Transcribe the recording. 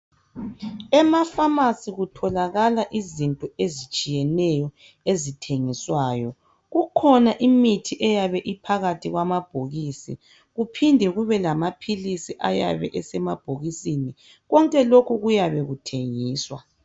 Emaphamarcy kutholakala izinto ezitshiyeneyo ezithengiswayo kukhona imithi eyabe iphakathi kwamabhokisi njalo kuphinde kube lamaphilisi asemabhokisini konke lokhu kuyabe kuthengiswa